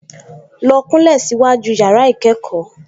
Lọ kúnlẹ̀ síwájú yàrá-ìkẹ́kọ̀ọ́